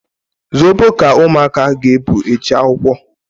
Zobo ka ụmụaka ga ebu eje akwụkwọ